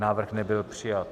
Návrh nebyl přijat.